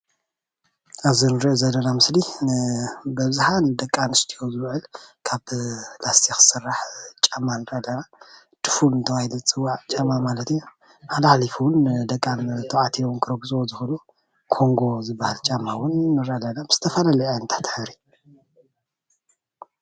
ኣብ እዚ እንሪኦ ዘለና ምስሊ ብኣብዝሓ ንደቂ ኣነስትዮ ዝውዕል ካብ ላስቲክ ስራሕ ጫማ ንርኢ ኣለና፡፡ ድፉን እናተባሃለ ይፅዋዕ ማለት እዩ፡፡ ሓልሓሊፉ እውን ደቂ ተባዕትዮ ክረግፅዎ ዝክእሉ ኮንጎ ዝተባሃለ ጫማ ብዝተፈላለየ ዓይነታት ሕብሪ